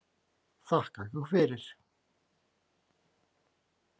Þakka ykkur fyrir!